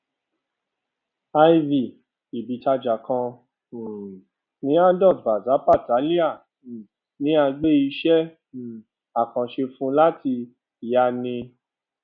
iv ibìtajà kan um ní adalt bazar patiala um ni a gbé iṣẹ um àkànṣe fún láti yàa ní